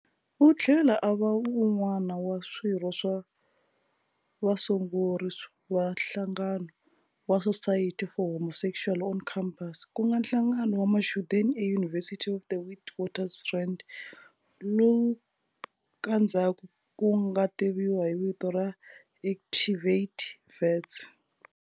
U tlhela a va wun'wana wa swirho swa vasunguli va nhlangano wa Society for Homosexuals on Campus, ku nga nhlangano wa machudeni e-University of the Witwatersrand, lowu ka ndzhaku wu nga tiviwa hi vito ra Activate Wits.